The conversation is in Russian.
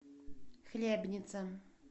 хлебница